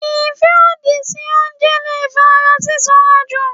ìfẹ́ òdì fún oúnjẹ leè fa ara sísan jù.